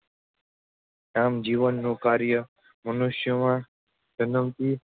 આમ, જીભનું કાર્ય મનુષ્યના જન્મથી